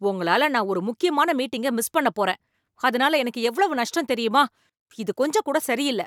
உங்களால நான் ஒரு முக்கியமான மீட்டிங்க மிஸ் பண்ணப் போறேன், அதனால எனக்கு எவ்வளவு நஷ்டம் தெரியுமா? இது கொஞ்சம் கூட சரியில்ல.